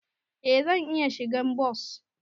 Eh zan iya shigan bas.